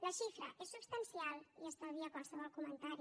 la xifra és substancial i estalvia qualsevol comentari